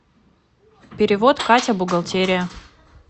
перевод катя бухгалтерия